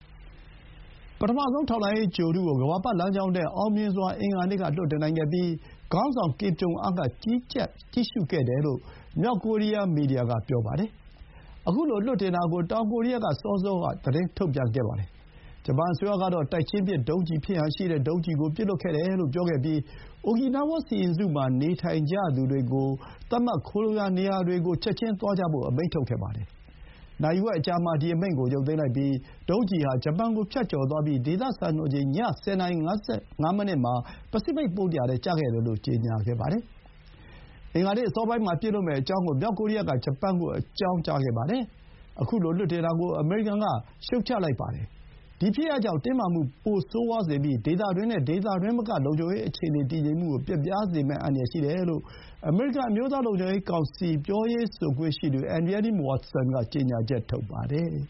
ပထမဆုံးထောက်လှမ်းရေး ဂြိုဟ်တု ကို ကမ္ဘာပတ်လမ်းကြောင်းထဲ အင်္ဂါနေ့ က အောင်မြင်စွာလွှတ်တင်နိုင်ခဲ့ပြီး ခေါင်းဆောင် ကင်ဂျုံအမ်း က (Kim Jong Un) ကြီးကြပ်ကြည့်ရှုခဲ့တယ်လို့ မြောက်ကိုရီးယား က ပြောလိုက်ပါတယ်။ အခုလို လွှတ်တင်တာ ကို တောင်ကိုရီးယားက စောစော သတင်းထုတ်ပြန်ခဲ့ပါတယ်။ ဂျပန်အစိုးရကတော့ တိုက်ချင်းပစ် ဒုံးကျည်ဖြစ်ဟန်ရှိတဲ့ ဒုံးကျည်ကို ပစ်လွှတ်ခဲ့တယ်လို့ပြောခဲ့ပြီး အိုကီနားဝါး (Okinawa) စီရင်စုမှာ နေထိုင်ကြသူတွကို ချက်ခြင်း သတ်မှတ်ခိုလှုံရာနေရာတွေကိုသွားဖို့ အမိန့်ထုတ်ခဲ့ပါတယ်။ နာရီဝက်အကြာမှာ ဒီအမိန့်ကို ရုပ်သိမ်းလိုက်ပြီး ဒုံးကျည်ဟာ ဂျပန်ကို ဖြတ်ကျော်သွားပြီး ဒေသစံတော်ချိန် ည ၁၀ နာရီ ၅၅ မိနစ်မှာ ပစိဖိတ်သမုဒ္ဒရာထဲ ကျခဲ့တယ်လို့ ကြေညာပါတယ်။ ခုလို လွှတ်တင်တာကို အမေရိကန်က ရှုတ်ချလိုက်ပါတယ်။ အင်္ဂါနေ့အစောပိုင်းမှာ ပစ်လွှတ်မယ့်အကြောင်း မြောက်ကိုရီးယားက ဂျပန်ကို အကြောင်းကြားခဲ့ပါတယ်။ ဒီ ဖြစ်ရပ်ကြောင့် တင်းမာမှု ပိုဆိုးဝါးစေပြီး ဒေသတွင်းနဲ့ ဒေသတွင်းမက လုံခြုံရေးအခြေအနေတည်ငြိမ်မှုကို ပျက်ပြားစေမယ့် အန္တရာယ်ရှိတယ်လို့ အမျိုးသားလုံခြုံရေးကောင်စီ ပြောရေးဆိုခွင့်ရှိသူ Adrienne Watson က ကြေညာချက်ထုတ်ပါတယ်။